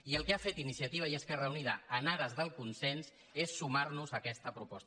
i el que ha fet iniciativa i esquerra unida en pro del consens és sumar·nos a aquesta proposta